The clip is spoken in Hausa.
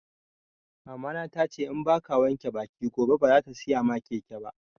Mama na tace in baka wanke baki gobe ba bazata siya maka keke ba